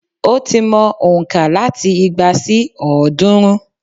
Ó ti mow òǹkà láti igba sí òódúrún